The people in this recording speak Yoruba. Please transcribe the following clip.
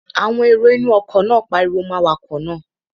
Àwọn èrò inú ọkọ̀ náà pariwo mọ́ awakọ̀ náà